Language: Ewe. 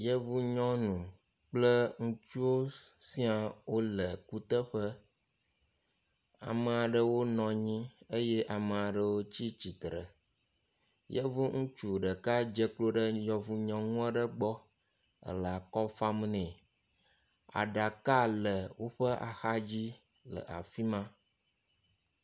Yevu nyɔnu kple ŋutsuwo siaa wole kuteƒe, ame aɖewo nɔnyi eye ame aɖewo tsi tsitre, yevu ŋutsu ɖeka dze klo ɖe yevu nyɔnu aɖe gbɔ ele akɔ fam nɛ, aɖaka le woƒe axa dzi le afima.